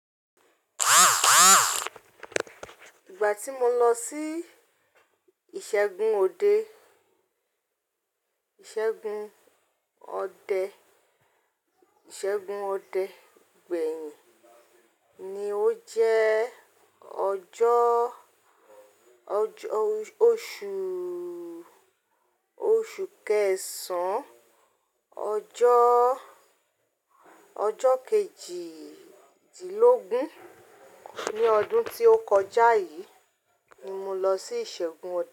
Ìgbà tí mo lọ sí ìṣẹ́gun ode, ìṣẹ́gun ọdẹ, ìṣẹ́gun ọdẹ gbẹ̀yìn ni ó jẹ́ ọjọ́, oṣù, oṣù kẹsàn án, ọjọ́, ọjọ́ kejìdínlógún ní ọdún tí ó kọjá yìí ni mo lọ sí ìṣẹ́gun ọdẹ.